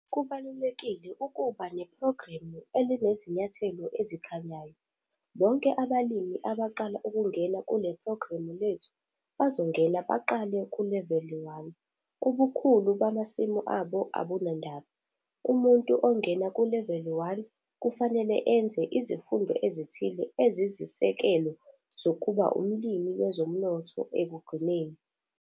Kubalulekile ukuba nephrogramu elinezinyathelo ezikhanyayo - bonke abalimi abaqala ukungena kule phrogramu lethu bazongena baqale kuleveli 1 - ubukhulu bamasimu abo abunandaba. Umuntu ongena kuleveli 1, kufanele enze izifundo ezithile ezizisekelo zokuba umlimi wezomnotho ekugcineni.